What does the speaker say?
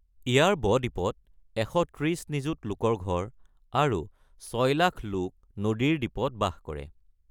ইয়াৰ ব-দ্বীপত ১৩০ নিযুত লোকৰ ঘৰ আৰু ৬,০০,০০০ লোক নদীৰ দ্বীপত বাস কৰে।